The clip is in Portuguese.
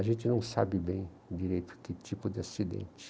A gente não sabe bem direito que tipo de acidente.